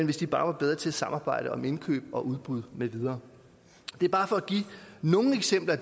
hvis de bare var bedre til at samarbejde om indkøb og udbud med videre det er bare for at give nogle eksempler